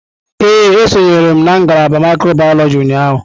Ee, esonyere m ngalaba mikrobiyọlojị ụnyahụ.